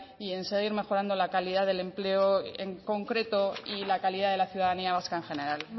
y en seguir mejorando la calidad del empleo en concreto y la calidad de la ciudadanía vasca en general